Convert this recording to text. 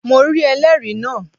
Mo rí ẹlẹ́rìí náà